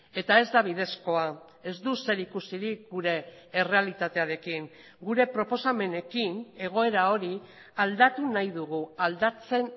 eta ez da bidezkoa ez du zerikusirik gure errealitatearekin gure proposamenekin egoera hori aldatu nahi dugu aldatzen